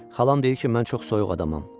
Xalam deyir ki, mən çox soyuq adamam.